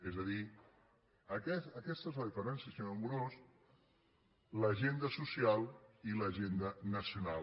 és a dir aquesta és la diferència senyor amorós l’agenda social i l’agenda nacional